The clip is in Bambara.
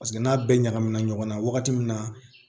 Paseke n'a bɛɛ ɲagaminen ɲɔgɔn na wagati min na